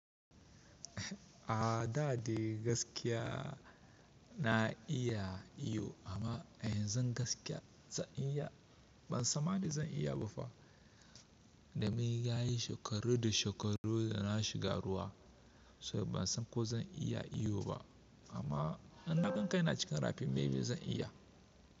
A'a, da dai gaskiya na iya iyo amma a yanzu gaskiya zan iya, ban san ma da zan iya ba fa. Do mun ya yi shekaru da shekaru da na shiga ruwa, sai ban san ko zan iya iyo ba amma in na gan kai na cikin rafi, maybe zan iya.